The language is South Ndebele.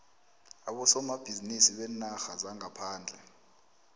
abosomabhizinisi beenarha zangaphandle